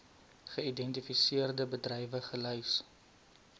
geïdentifiseerde bedrywe gelys